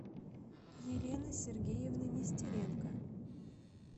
елены сергеевны нестеренко